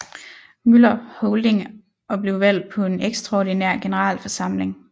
Møller Holding og blev valgt på en ekstraordinær generalforsamling